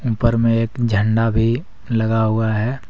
ऊपर में एक झंडा भी लगा हुआ है।